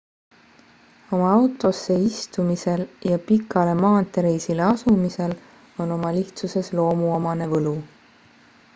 oma autosse istumisel ja pikale maanteereisile asumisel on oma lihtsuses loomuomane võlu